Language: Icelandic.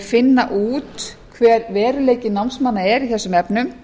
finna út hver veruleiki námsmanna er í þessum efnum